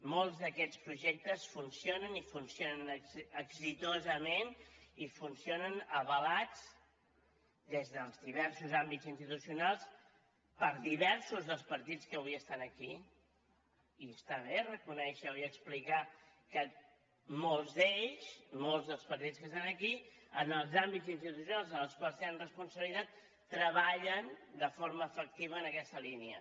molts d’aquests projectes funcionen i funcionen exitosament i funcionen avalats des dels diversos àmbits institucionals per diversos dels partits que avui estan aquí i està bé reconèixer ho i explicar que molts d’ells molts dels partits que estan aquí en els àmbits institucionals en els quals tenen responsabilitat treballen de forma efectiva en aquesta línia